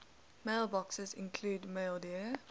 mailboxes include maildir